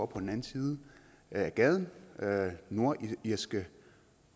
på den anden side af gaden nordirske